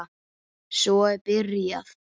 Svo er byrjað.